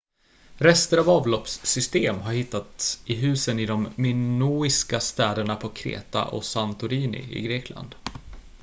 rester av avloppssystem har hittats i husen i de minoiska städerna på kreta och santorini i grekland